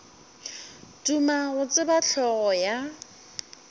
duma go tseba hlogo ya